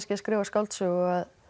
að skrifa skáldsögu